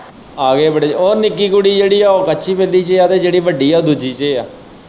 ਆ ਗਏ ਹੈ ਬੜੇ ਉਹ ਨਿੱਕੀ ਕੁੜੀ ਜਿਹੜੀ ਹੈ ਉਹ ਕੱਚੀ ਪਹਿਲੀ ਚ ਹੈ ਤੇ ਜਿਹੜੀ ਵੱਡੀ ਹੈ ਉਹ ਦੂਜੀ ਚ ਹੈ।